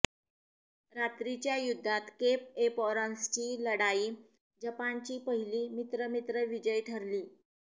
रात्रीच्या युद्धात केप एपोरान्सची लढाई जपानची पहिली मित्रमित्र विजय ठरली